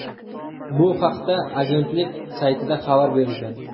Bu haqda agentlik saytida xabar berilgan .